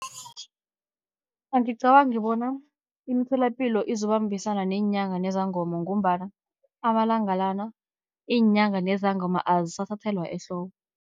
Angicabangi bona imitholapilo izobambisana neenyanga nezangoma, ngombana amalanga lana iinyanga nezangoma azisathathelwa ehloko.